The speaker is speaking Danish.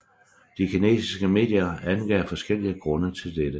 De kinesiske medier angav forskellige grunde til dette